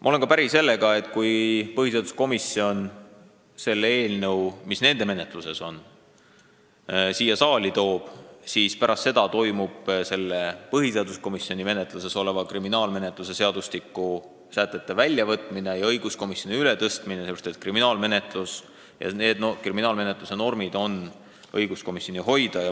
Ma olen päri ka sellega, et kui põhiseaduskomisjon selle eelnõu, mis nende menetluses on, siia saali toob, siis pärast seda toimub põhiseaduskomisjoni menetluses olevast kriminaalmenetluse seadustikust sätete väljavõtmine ja õiguskomisjoni menetlusse üleandmine, sest kriminaalmenetluse normid on õiguskomisjoni valdkond.